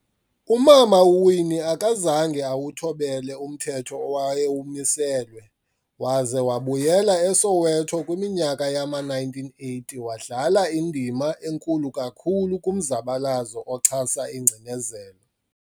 Umama uWinnie akazange awuthobele umthetho owayewumiselwe, waze wabuyela eSoweto kwiminyaka yama-1980 wadlala indima enkulu kakhulu kumzabalazo ochasa ingcinezelo.